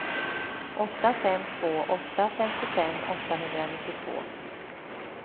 åtta fem två åtta femtiofem åttahundranittiotvå